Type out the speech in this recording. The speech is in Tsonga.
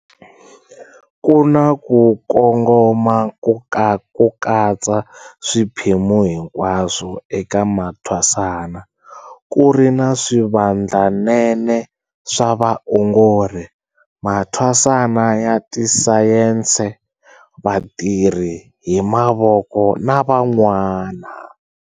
Ku na ku kongoma ko katsa swiphemu hinkwaswo eka mathwasana, ku ri na swivandlanene swa vaongori, mathwasana ya tisayense, vatirha-hi-mavoko na van'wana.